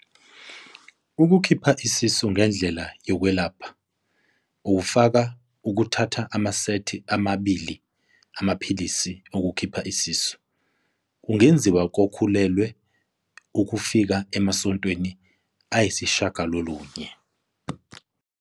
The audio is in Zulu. Ukukhipha isisu ngendlela yokwelapha, okufaka ukuthatha amasethi amabili amaphilisi ukukhipha isisu, kungenziwa kokhulelwe ukufika emasontweni ayisishiyagalolunye.